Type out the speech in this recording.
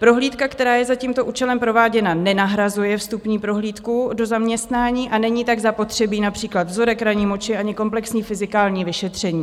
Prohlídka, která je za tímto účelem prováděna, nenahrazuje vstupní prohlídku do zaměstnání a není tak zapotřebí například vzorek ranní moči ani komplexní fyzikální vyšetření.